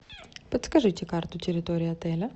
подскажите карту территории отеля